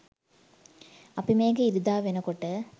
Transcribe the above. අපි මේක ඉරිදා වෙනකොට